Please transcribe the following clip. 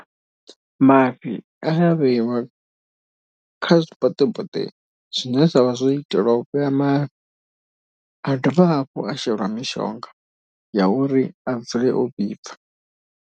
Mafhi a vheiwa kha zwiboṱeboṱe zwine zwa vha zwo itelwa u vhea mafhi. A dovha hafhu a sheliwa mishonga ya uri a dzule o vhibva.